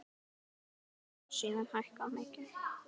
Laun hafa síðan hækkað mikið.